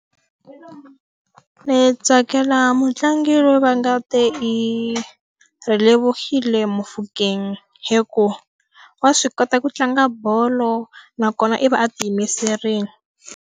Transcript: Ni tsakela mutlangi loyi va nga te i Relebohile Mofokeng hikuva, wa swi kota ku tlanga bolo nakona i va a tiyimiserile.